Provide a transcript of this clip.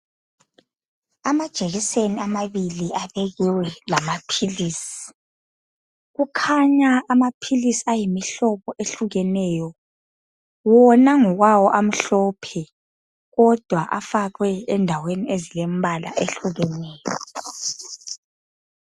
Amajekiseni amabili abekiwe lamaphilisi. Amaphilisi ayimihlobo ehlukeneyo. Wona ngokwawo amhlophe kodwa afakwe endaweni ezilembala ehlukeneyo.